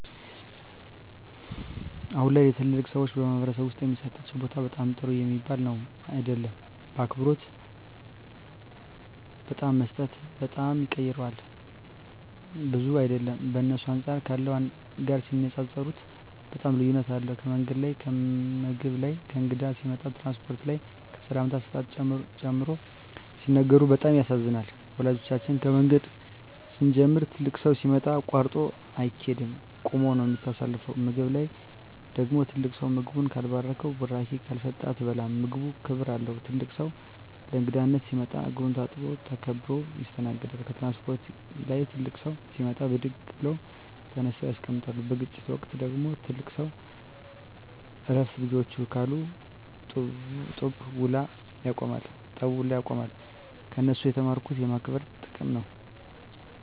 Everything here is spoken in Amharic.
አሁን ላይ ለተላላቅ ሰዎች በማኅበረሰብ ዉስጥ የሚሠጣቸው ቦታ በጣም ጥሩ ሚባል ነዉም አይደለም አክብሮት በጣም መሰጠት በጣም ይቀረዋል ብዙም አይደለም በእነሱ አንጻር ካለው ጋር ሲነጻጽጽሩት በጣም ልዩነት አለዉ ከምንገድ ላይ ከምግብ ላይ ከእንግዳ ሲመጣ ከትራንስፖርት ላይ ከሰላምታ አሰጣጥ ጨምሮ ሲነግሩን በጣም ያሳዝናል ወላጆቻችን ከምንገድ ሲንጀምሩ ትልቅ ሠው ሲመጣ አቃርጦ አይቂድም ቁመ ነው ምታሳልፈው ከምግብ ላይ ደግሞ ትልቅ ሰው ምግቡን ካልባረከዉና ብራቂ ካልሰጠ አትበላም ምግቡም ክብር አለው ትልቅ ሰው ለእንግዳነት ሲመጣ እግሩን ታጥቦ ተከብረው ይስተናገዳሉ ከትራንስፖርት ላይ ትልቅ ሰው ሲመጣ ብድግ ብለው ተነስተው ያስቀምጣሉ በግጭት ወቅት ደግሞ ትልቅ ሰው እረፍ ልጆቸ ካሉ ጠቡ ውላ ያቆማሉ ከነሱ የተማርኩት የማክበር ጥቅም ነው